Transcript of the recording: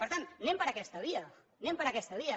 per tant anem per aquesta via anem per aquesta via